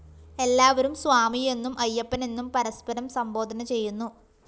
എല്ലാവരും സ്വാമിയെന്നും അയ്യപ്പനെന്നും പരസ്പരം സംബോധന ചെയ്യുന്നു